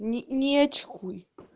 не не очкуй